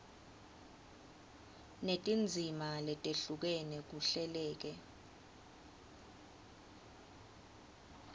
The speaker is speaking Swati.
netindzima letehlukene kuhleleke